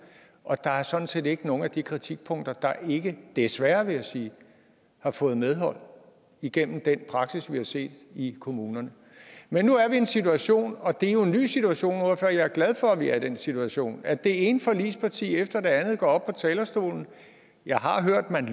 og der er sådan set ikke nogen af de kritikpunkter der ikke desværre vil jeg sige har fået medhold igennem den praksis vi har set i kommunerne men nu er vi i en situation og det er jo en ny situation og jeg er glad for at vi er i den situation at det ene forligsparti efter det andet går op på talerstolen jeg har hørt at man